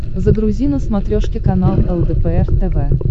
загрузи на смотрешке канал лдпр тв